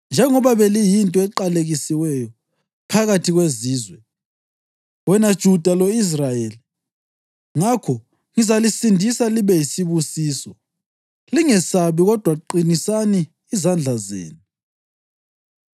Njengoba beliyinto eqalekisiweyo phakathi kwezizwe, wena Juda lo-Israyeli, ngakho ngizalisindisa libe yisibusiso. Lingesabi, kodwa qinisani izandla zenu.”